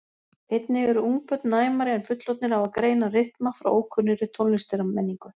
einnig eru ungbörn næmari en fullorðnir á að greina rytma frá ókunnugri tónlistarmenningu